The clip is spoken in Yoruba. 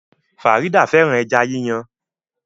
Farida fẹ́ràn ẹja yíyan